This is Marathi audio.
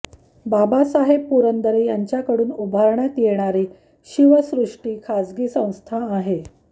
बाबासाहेब पुरंदरे यांच्याकडून उभारण्यात येणारी शिवसृष्टी खासगी संस्था आहे